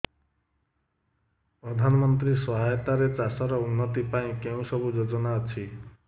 ପ୍ରଧାନମନ୍ତ୍ରୀ ସହାୟତା ରେ ଚାଷ ର ଉନ୍ନତି ପାଇଁ କେଉଁ ସବୁ ଯୋଜନା ଅଛି